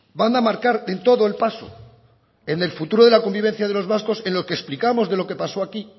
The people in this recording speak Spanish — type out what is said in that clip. van a marcar en todo el paso en el futuro de la convivencia de los vascos en lo que explicamos de lo que pasó aquí